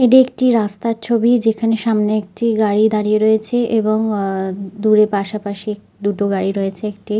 এইটি একটি রাস্তার ছবি যেখানে সামনে একটি গাড়ি দাঁড়িয়ে রয়েছে এবং আ দূরে পাশাপাশি এক দুটো গাড়ি রয়েছে একটি--